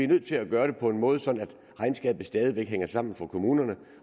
nødt til at gøre det på en måde sådan at regnskabet stadig væk hænger sammen for kommunerne